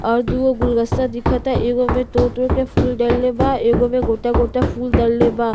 और दुगो घुलदस्ता दिखता। एगो तोड़-तोड़ के फूल डल्ले बा। एगो में गोटा-गोटा फूल डल्ले बा।